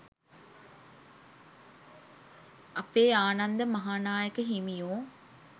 අපේ ආනන්ද මහානායක හිමියෝ